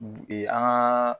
Bi an ka.